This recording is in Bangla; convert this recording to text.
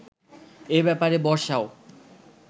এ ব্যাপারে বর্ষাও